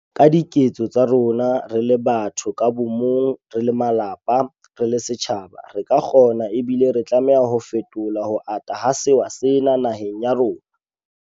Ka diketso tsa rona, re le batho ka bomong, re le malapa, re le setjhaba, re ka kgona ebile re tlameha ho fetola ho ata ha sewa sena naheng ya rona.